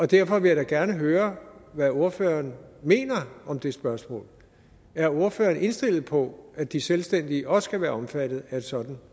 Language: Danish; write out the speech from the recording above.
derfor vil jeg da gerne høre hvad ordføreren mener om det spørgsmål er ordføreren indstillet på at de selvstændige også skal være omfattet af et sådant